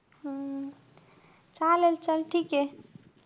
हम्म चालेल चल. ठीके.